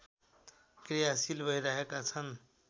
क्रियाशील भइरहेका छन्